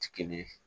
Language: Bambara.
Ti kelen